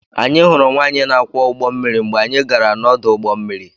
Anyị hụrụ nwaanyị na-akwọ ụgbọ mmiri mgbe anyị gara n'ọdụ ụgbọ mmiri.